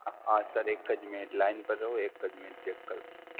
હા Sir એકજ Minute line પર રહો, એકજ minute check કરું!